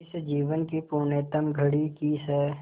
इस जीवन की पुण्यतम घड़ी की स्